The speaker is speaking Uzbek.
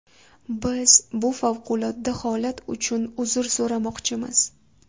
Biz bu favqulodda holat uchun uzr so‘ramoqchimiz”.